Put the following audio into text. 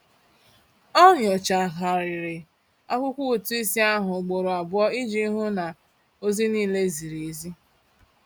Ọ nyochagharịrị akwụkwọ ụtụisi ahụ ugboro abụọ iji hụ na ozi niile ziri ezi.